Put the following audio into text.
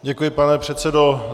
Děkuji, pane předsedo.